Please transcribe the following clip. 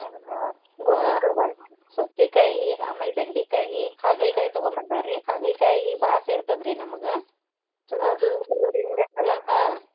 ಸೌತಿಕಾಯಿ ಆಮೇಲೆ ಬೆಂಡಿಕಾಯಿ, ತಗೊಂಡ್ ಬಂದಾರ್ರಿ ಹಾಗಲ್ಕಾಯಿ ಬಾಳ ಸೇರತದ್ರ್ರಿ ನಮಗ ಹಾ.